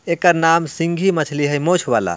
एका नाम सिंगी मछली है मूंछ वाला ।